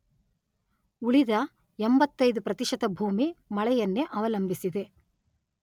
ಉಳಿದ ಎಂಭತ್ತೈದು ಪ್ರತಿಶತ ಭೂಮಿ ಮಳೆಯನ್ನೇ ಅವಲಂಬಿಸಿದೆ.